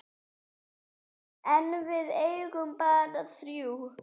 En við eigum bara þrjú.